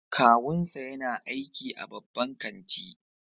Kawunsa yana aiki a babban kanti